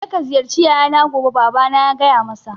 Je ka ziyarci yayana gobe, babana ya gaya masa